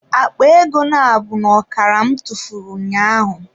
Akpa ego nabụ n'okara m tụfuru ụnyaahụ.